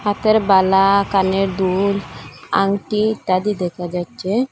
হাতের বালা কানের দুল আংটি ইত্যাদি দেখা যাচ্ছে।